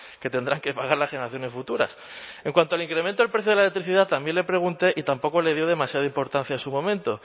que tendrán que pagar las generaciones futuras en cuanto al incremento del precio de la electricidad también le pregunté y tampoco le dio demasiada importancia en su momento